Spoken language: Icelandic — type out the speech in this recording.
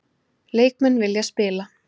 Leikmenn vilja spila